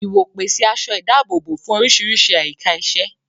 Ìwò pèsè aṣọ ìdáàbòbò fún oríṣiríṣi àyíká iṣẹ́.